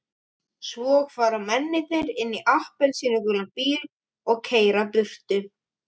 Svo fara mennirnir inn í appelsínugulan bíl og keyra burtu.